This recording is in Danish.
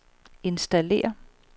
installér